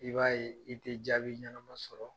I b'a ye i tɛ jaabi ɲɛnama sɔrɔ